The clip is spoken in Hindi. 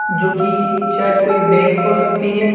जो कि शायद कोई बैंक हो सकती है।